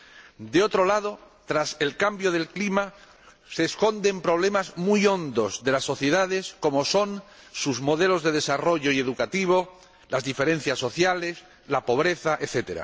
Por otro lado, tras el cambio del clima se esconden problemas muy hondos de las sociedades, como son sus modelos de desarrollo y educativo, las diferencias sociales, la pobreza, etc.